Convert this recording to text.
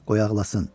Qoy ağlasın.